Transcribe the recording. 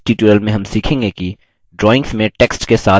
इस tutorial में हम सीखेंगे कि